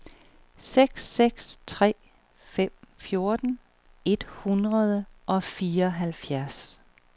seks seks tre fem fjorten et hundrede og fireoghalvfjerds